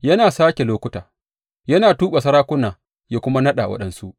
Yana sāke lokuta, yana tuɓe sarakuna yana kuma naɗa waɗansu.